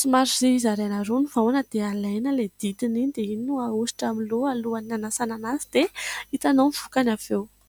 Somary zaraina roa ny vahona dia alaina ilay dintiny iny dia iny no ahosotra amin'ny loha alohan'ny hanasana an' azy dia hitanao ny vokany avy eo.